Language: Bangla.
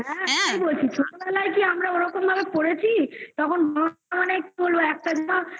হ্যাঁ সত্যি বলছি ছোটবেলায় কি আমরা ওরকম ভাবে পড়েছি তখন